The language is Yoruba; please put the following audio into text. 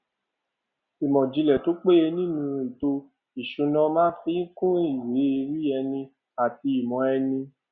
ìmòìjìnlè tó péye nínú ètò ìṣúná máa fi kún ìwé ẹrí ẹni àti ìmò ẹni